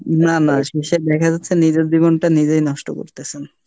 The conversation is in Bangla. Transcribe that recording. না না শেষে দেখা যাচ্ছে নিজের জীবনটা নিজেই নষ্ট করতেছেন।